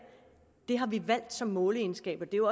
har vi valgt som måleegenskab og det